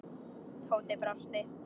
Tóti brosti.